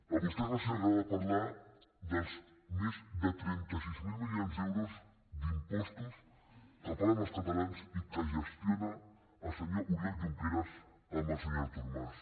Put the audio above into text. a vostès no els agrada parlar dels més de trenta sis mil milions d’euros d’impostos que paguen els catalans i que gestiona el senyor oriol junqueras amb el senyor artur mas